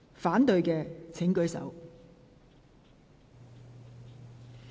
反對的請舉手。